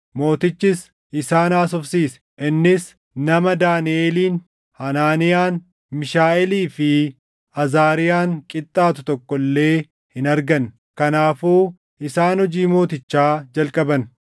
Mootichis isaan haasofsiise; innis nama Daaniʼeliin, Hanaaniyaan, Miishaaʼeelii fi Azaariyaan qixxaatu tokko illee hin arganne; kanaafuu isaan hojii mootichaa jalqaban.